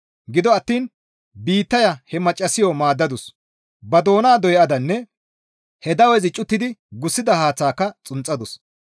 Gido attiin biittaya he maccassayo maaddadus; ba doona doyadanne he dawezi cuttidi gussida haaththaaka xunxadus.